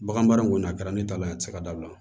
Bagan baara in kɔni a kɛra ne ta la a tɛ se ka dabila